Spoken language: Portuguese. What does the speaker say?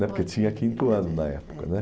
né, Porque tinha quinto ano na época, né?